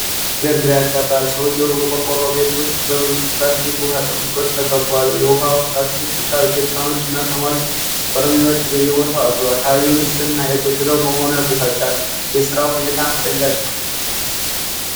ይሄ ነገር ግራ ያጋባል! ሰውዬው በቆርቆሮ ቤት ውስጥ በብዙ የፕላስቲክ ውሀ ጠርሙሶች ተከቧል። የውሀ የፕላስቲክ ፣ ቢጫ ጄሪካኖች እና ሰማያዊ በርሜሎች በየቦታው አሉ። አካባቢው ንጽህና የጎደለው መሆኑ ያበሳጫል። የስራው ሁኔታ አስደንጋጭ ነው!